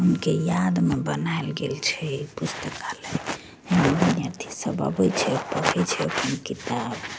उनके याद में बनाएल गेल छै ये पुस्तकालय सब आवे छै पढ़े छै अपन किताब --